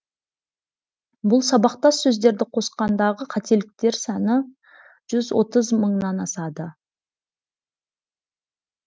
бұл сабақтас сөздерді қосқандағы қателіктер саны жүз отыз мыңнын асады